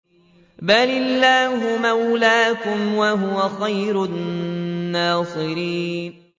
بَلِ اللَّهُ مَوْلَاكُمْ ۖ وَهُوَ خَيْرُ النَّاصِرِينَ